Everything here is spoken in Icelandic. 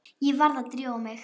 Ég varð að drífa mig.